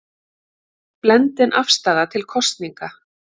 Blendin afstaða til kosninga